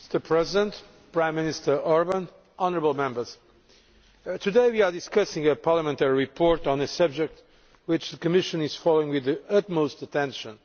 Mr President, Prime Minister Orbán, honourable Members, today we are discussing a parliamentary report on a subject which the Commission is following with the utmost attention.